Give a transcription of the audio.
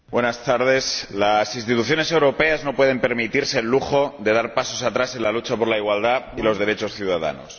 Señora Presidenta, las instituciones europeas no pueden permitirse el lujo de dar pasos atrás en la lucha por la igualdad y los derechos ciudadanos.